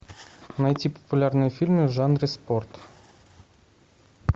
найти популярные фильмы в жанре спорт